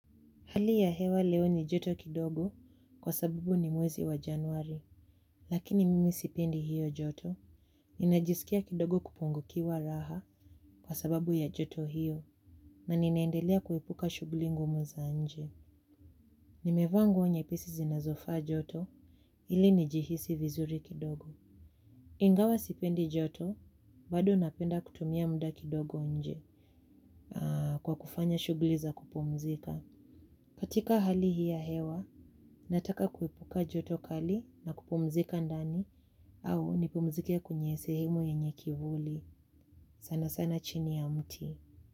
Hali ya hewa leo ni joto kidogo kwa sababu ni mwezi wa januari. Lakini mimi sipendi hiyo joto. Ninajisikia kidogo kupungukiwa raha kwa sababu ya joto hiyo. Na ninaendelea kuepuka shughuli ngumu za nje. Nimevaa nguo nyepesi zinazofa joto ili nijihisi vizuri kidogo. Ingawa sipendi joto bado napenda kutumia muda kidogo nje kwa kufanya shughli za kupumzika. Katika hali hii ya hewa, nataka kuipuka joto kali na kupumzika ndani au nipumzike kwenye sehemu yenye kivuli. Sana sana chini ya mti.